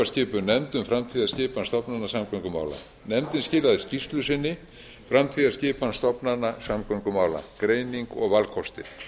skipuð nefnd um framtíðarskipan stofnana samgöngumála nefndin skilaði skýrslu sinni framtíðarskipan stofnana samgöngumála greining og valkostir